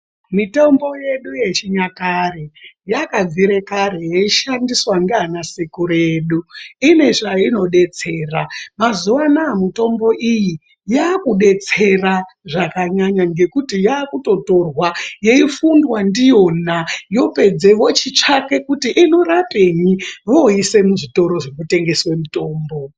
Mitombo yedu hechinyakare yakabvira kare yeishandiswa ngeana sekuru edu. Inezvainodedzera ,mazuva ana-a mitombo iyi yakudetsera zvakanyanya ngekuti yakutotorwa yeifundwa ndiyona yopedze vochitsvaka kuti inorapenyi, voiise muzvitoro zvinotengeswe mitombo.